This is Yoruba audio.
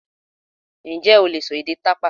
Ǹjẹ́ o lè sọ èdè tàpá?